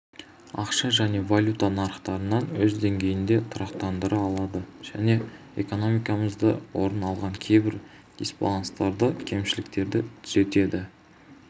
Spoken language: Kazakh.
ақша және валюта нарықтарын өз деңгейінде тұрақтандыра алды және экономикамызда орын алған кейбір дисбаланстарды кемшіліктерді түзетті